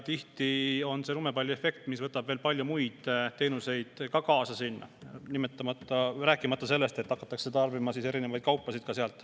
Tihti tekib sellest lumepalliefekt, nii et sinna tuleb veel palju muid teenuseid juurde, rääkimata sellest, et hakatakse tarbima ka sealset kaupa.